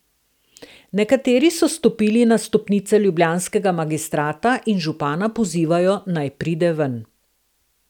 Nekateri so stopili na stopnice ljubljanskega magistrata in župana pozivajo, naj pride ven.